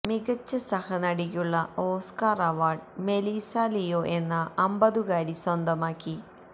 മികച്ച സഹനടിക്കുള്ള Oscar award Melissa Leo എന്ന അമ്പതുകാരി സ്വന്തമാക്കി